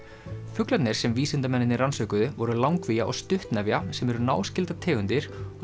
fuglarnir sem vísindamennirnir rannsökuðu voru langvía og stuttnefja sem eru náskyldar tegundir